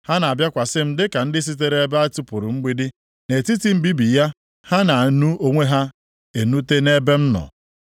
Ha na-abịakwasị m dịka ndị sitere ebe e tipuru mgbidi; nʼetiti mbibi ya ha na-enu onwe ha enute nʼebe m nọ.